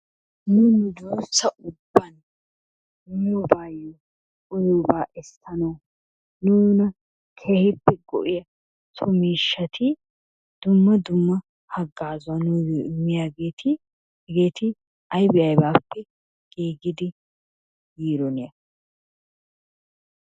Nu nuduussa ubban miyobaanne uyiyobaa essanawu nuna keehippe go'iya so miishshati dumma dumma haggaazuwa nuyyo immiyageeti hegeeti ayiba ayibaappe giigidi yiidona?